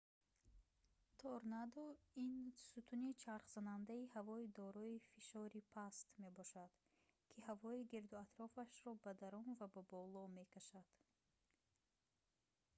торнадо ин сутуни чархзандаи ҳавои дорои фишори паст мебошад ки ҳавои гирду атрофро ба дарун ва ба боло мекашад